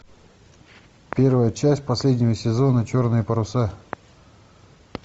первая часть последнего сезона черные паруса